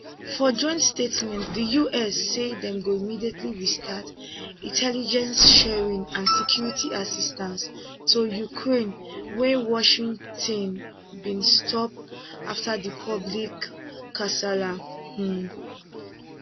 for joint statement di us say dem go immediately restart intelligence sharing and security assistance to ukraie wey washington bin stop afta di public kasala um